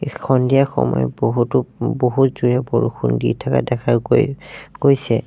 এসন্ধিয়া সময় বহুতো বহুত জোৰে বৰষুণ দি থাকা দেখা গৈ গৈছে।